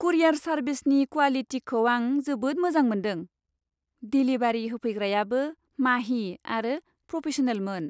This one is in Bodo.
कुरियार सारभिसनि क्वालिटिखौ आं जोबोद मोजां मोनदों। डिलिभारि होफैग्रायाबो माहि आरो प्रफेस'नेलमोन।